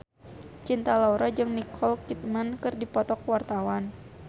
Cinta Laura jeung Nicole Kidman keur dipoto ku wartawan